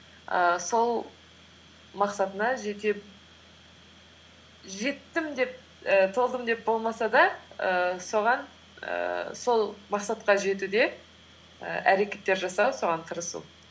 ііі сол мақсатына жеттім деп і толдым деп болмаса да ііі соған ііі сол мақсатқа жетуде і әрекеттер жасау соған тырысу